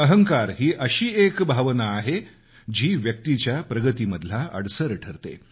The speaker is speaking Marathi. अहंकार ही एक अशी भावना आहे की जी व्यक्तीच्या प्रगती मधला अडसर ठरते